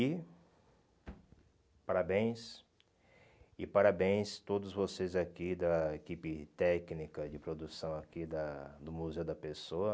E parabéns, e parabéns a todos vocês aqui da equipe técnica de produção aqui da do Museu da Pessoa.